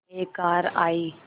एक कार आई